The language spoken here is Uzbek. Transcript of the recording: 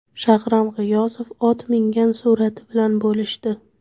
Shahram G‘iyosov ot mingan surati bilan bo‘lishdi.